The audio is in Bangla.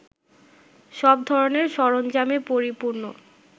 সব ধরনের সরঞ্জামে পরিপূর্ণ